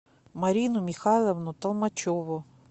марину михайловну толмачеву